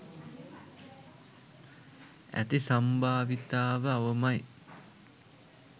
ඇති සම්භාවිතාව අවමයි.